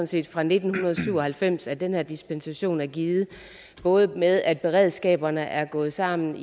set fra nitten syv og halvfems at den her dispensation er givet både med at beredskaberne er gået sammen